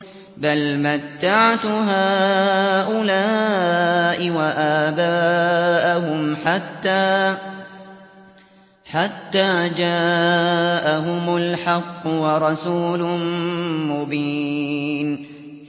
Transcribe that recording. بَلْ مَتَّعْتُ هَٰؤُلَاءِ وَآبَاءَهُمْ حَتَّىٰ جَاءَهُمُ الْحَقُّ وَرَسُولٌ مُّبِينٌ